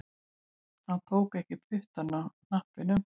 Hann tók ekki puttann af hnappinum